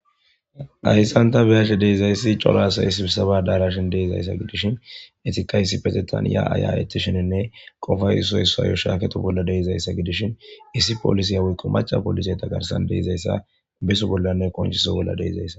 hayssanta beyashe deizayssi cola asayissisaba daarashin deeizayssa gidishin etika yssi petetan ya aya7eti sheninne qofay isoyssayo shaaketo bolla deizayssa gidishin issi poolisiya wikqo maca polise tagarsan deizayssa beso bollanne qonshiso bolla deizayssa